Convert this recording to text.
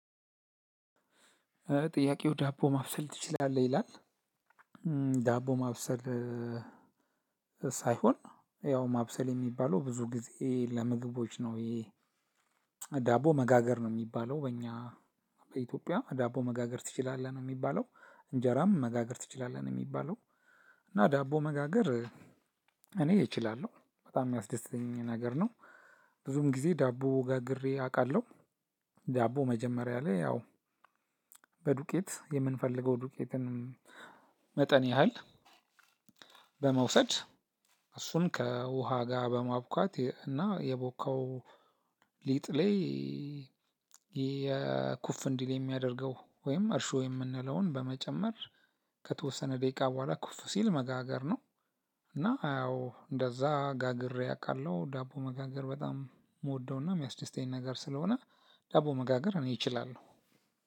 ጥያቄው ዳቦ ማብሰል ትችላለህ ይላል? ዳቦ ማብሰል ሳይሆን ያው ማብሰል የሚባለው ብዙ ጊዜ ለምግቦች ነው። ይሄ ዳቦ መጋገር ነው የሚባለው። በእኛ በኢትዮጵያ ዳቦ መጋገር ትችላለህ ነው የሚባለው እንጀራም መጋገር ትችላለህ ነው የሚባለው። እና ዳቦ መጋገር እኔ እችላለሁ በጣም የሚያስደስተኝ ነገር ነው። ብዙም ጊዜ ዳቦ ጋግሬ አቃለሁ። ዳቦ መጀመሪያ ላይ ያው በዱቄት የምንፈልገው ዱቄትን መጠን ያህል በመውሰድ እሱን ከውሃ ጋር በማቡካት እና የቦካው ሊጥ ላይ የኩፍ እንዲል የሚያደርገው ወይም እርሾ የምንለውን በመጨመር ከተወሰነ ደቂቃ በኋላ ኩፍ ሲል መጋገር ነው። እና ያው እንደዛ ጋግሬ አቃለሁ ዳቦ መጋገር በጣም የምወደውና የሚያስደስተኝ ነገር ስለሆነ ዳቦ መጋገር እኔ እችላለሁ።